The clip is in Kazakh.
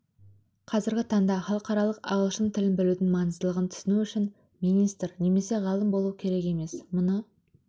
қазіргі таңда халықаралық ағылшын тілін білудің маңыздылығын түсіну үшін министр немесе ғалым болу керек емес мұны